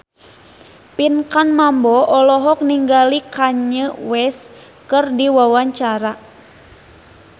Pinkan Mambo olohok ningali Kanye West keur diwawancara